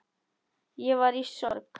Ég var í sorg.